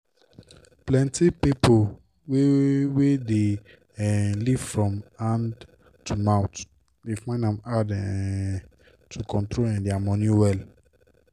plenti pipo wey wey dey um live from hand to mouth dey find am hard um to control um dia moni well.